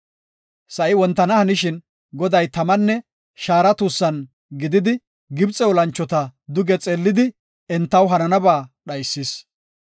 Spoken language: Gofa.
Sa7i wontana hanishin Goday tamanne shaara tuussan gididi Gibxe olanchota duge xeellidi, entaw hananaba dhaysis.